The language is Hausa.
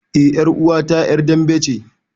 Eh ƴaruwa ta ƴar dambe ce.